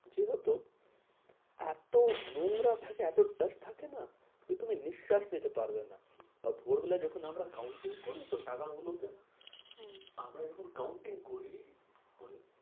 যে হতো এত নোংরা থাকে এত dust থাকে না? যে তুমি নিঃস্বাস নিতে পারবে না। আর ভোরবেলা যখন আমরা counting করি তো টাকা গুলো কে। হ্যাঁ আমরা যখন counting করি